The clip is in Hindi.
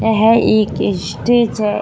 यह एक स्टेज है।